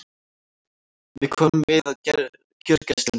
Við komum við á gjörgæslunni.